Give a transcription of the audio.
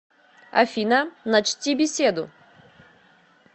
афина начти беседу